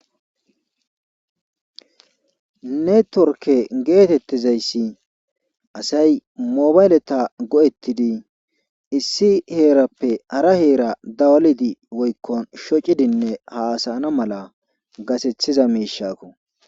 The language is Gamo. networke geetettizayssi asay mobayleta go7ettidi issi heerappe hara heera dawalidi woykkon shocidinne haasayana mala gasethiza miishakko